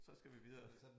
Så skal vi videre